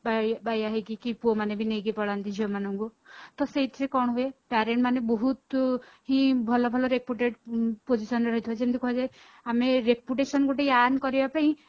ବା ବାଇଆ ହେଇକି କି ପୁଅମାନେ ବି ନେଇକି ପଳାନ୍ତି ଝିଅ ମାନଙ୍କୁ ତ ସେଇଥିରେ କଣ ହୁଏ parent ମାନେ ବହୁତ ହିଁ ଭଲ ଭଲ reputed position ରେ ରହିଥିବ ଯେମିତି କୁହାଯାଏ ଆମେ reputation ଗୋଟେ earn କରିବା ପାଇଁ